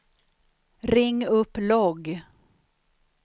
ring upp logg